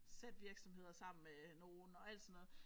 Sat virksomheder sammen med nogen og alt sådan noget